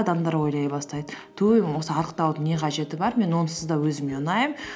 адамдар ойлай бастайды туй осы арықтаудың не қажеті бар мен онсыз да өзіме ұнаймын